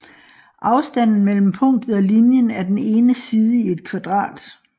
Afstanden mellem punktet og linjen er den ene side i et kvadrat